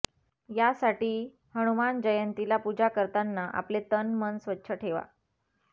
यासाठी हनुमान जयंतीला पुजा करताना आपले तन मन स्वच्छ ठेवा